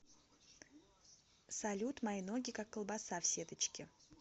салют мои ноги как колбаса в сеточке